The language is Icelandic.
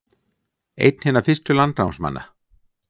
Einn hinna fyrstu landnámsmanna